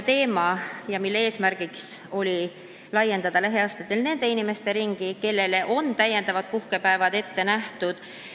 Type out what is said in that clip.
Eesmärk on laiendada lähiaastatel nende inimeste ringi, kellele on täiendavad puhkepäevad ette nähtud.